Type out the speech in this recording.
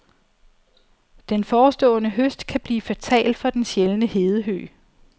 Den forestående høst kan blive fatal for den sjældne hedehøg.